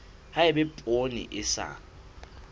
ha eba poone e sa